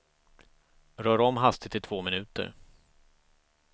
Rör om hastigt i två minuter.